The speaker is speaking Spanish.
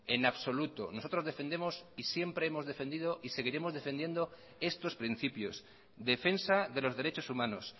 en absoluto nosotros defendemos y siempre hemos defendido y seguiremos defendiendo estos principios defensa de los derechos humanos